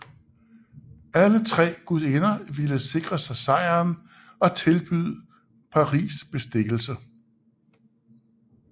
Alle tre gudinder ville sikre sig sejren og tilbød Paris bestikkelse